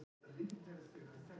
Torfey, hvaða dagur er í dag?